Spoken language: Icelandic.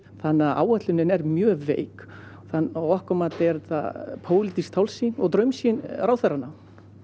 áætlunin er mjög veik að okkar mati er þetta pólitísk tálsýn og draumsýn ráðherranna